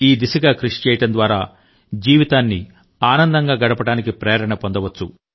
ఈ దిశగా కృషి చేయడం ద్వారా జీవితాన్నిఆనందంగా గడపడానికి ప్రేరణ పొందవచ్చు